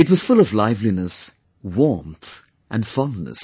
It was full of liveliness, warmth and fondness